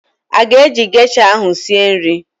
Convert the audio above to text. Ị ga-eji gesha ahụ sie nri?